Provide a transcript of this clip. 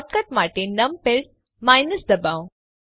shortcut માટે numpad દબાવો